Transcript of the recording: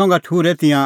संघा ठुर्है तिंयां